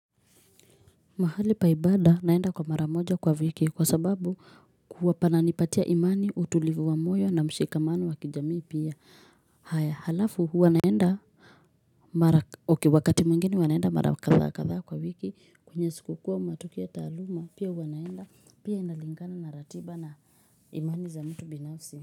Mahali pa ibada naenda kwa mara moja kwa wiki, kwa sababu huwa pananipatia imani utulivu wa moyo na mshikamani wa kijamii pia hhh haya halafu huwa naenda hhh mara kh wakati mwingine wanaenda mara katha katha kwa wiki kwenye sikuku uwa mnatokea taluuma pia huwa naenda pia inalingana na ratiba na imani za mtu binafsi.